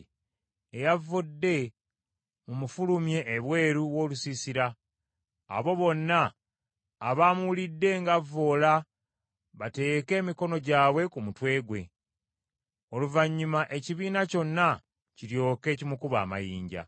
“Eyavvodde mumufulumye ebweru w’olusiisira. Abo bonna abaamuwulidde ng’avvoola bateeke emikono gyabwe ku mutwe gwe; oluvannyuma ekibiina kyonna kiryoke kimukube amayinja.